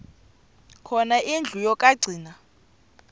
khona indlu yokagcina